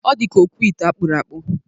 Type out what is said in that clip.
Ọ dịka okwute akpụrụ akpụ.